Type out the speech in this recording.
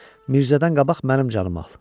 Mirzədən qabaq mənim canımı al!